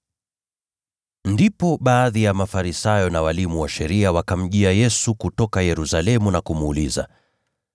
Ndipo baadhi ya Mafarisayo na walimu wa sheria wakamjia Yesu kutoka Yerusalemu na kumuuliza,